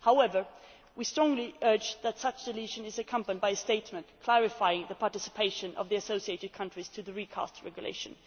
However, we strongly urge that such deletion be accompanied by a statement clarifying the participation of the associated countries in the Recast Regulation.